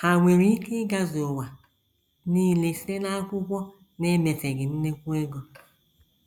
Ha nwere ike “ ịgazu ” ụwa nile site n’akwụkwọ n’emefeghị nnukwu ego.